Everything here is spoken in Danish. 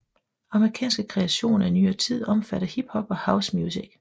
Amerikanske kreationer i nyere tid omfatter hip hop and house music